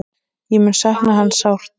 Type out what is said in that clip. Ég mun sakna hans sárt.